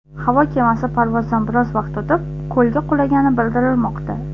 Havo kemasi parvozdan biroz vaqt o‘tib, ko‘lga qulagani bildirilmoqda.